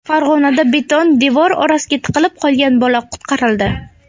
Farg‘onada beton devor orasiga tiqilib qolgan bola qutqarildi.